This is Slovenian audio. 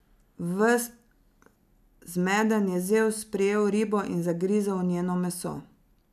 Ves zmeden je Zevs prijel ribo in zagrizel v njeno meso.